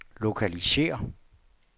lokalisér